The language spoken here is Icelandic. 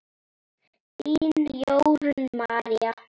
Þín, Jórunn María.